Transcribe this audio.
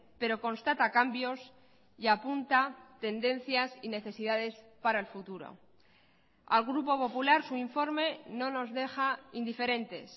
pero constata cambios y apunta tendencias y necesidades para el futuro al grupo popular su informe no nos deja indiferentes